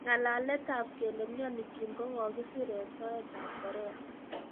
Ngalalet ab kele miani Kim ko kokisir en soet ab Korea